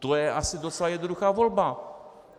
To je asi docela jednoduchá volba.